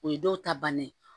O ye dɔw ta bannen ye